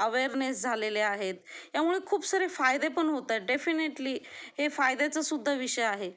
awareness झालेले आहेत त्यामुळे खूप सारे फायदे होत आहेत डेफिनेटली हे फायद्याचा सुद्धा विषय आहे